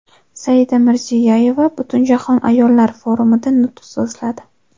Saida Mirziyoyeva Butunjahon ayollar forumida nutq so‘zladi.